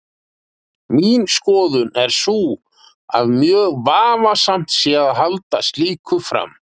Mín skoðun er sú að mjög vafasamt sé að halda slíku fram.